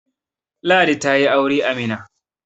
Ladi ta yi aure a Mina